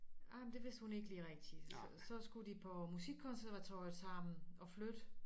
Ej men det vidste hun ikke lige rigtig så så skulle de på musikkonservatoriet sammen og flytte